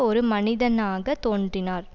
ஒரு மனிதனாக தோன்றினார்